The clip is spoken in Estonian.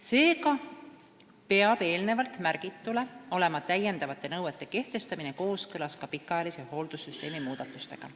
Seega peab lisanõuete kehtestamine olema kooskõlas ka pikaajalise hoolduse süsteemi muudatustega.